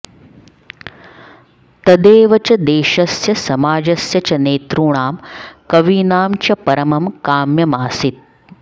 तदेव च देशस्य समाजस्य च नेतॄणां कवीनां च परमं काम्यमासीत्